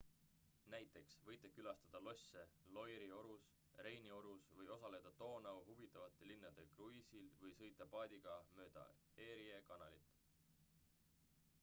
näiteks võite külastada losse loire'i orus reini orus või osaleda doonau huvitavate linnade kruiisil või sõita paadiga mööda erie kanalit